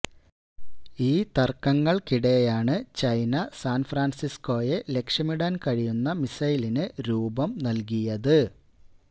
ഈ തർക്കങ്ങൾക്കിടെയാണ് ചൈന സാൻഫ്രാൻസിസ്കോയെ ലക്ഷ്യമിടാൻ കഴിയുന്ന മിസൈലിന് രൂപം നൽകിയത്